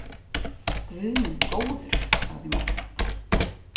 Guð minn góður, sagði Margrét.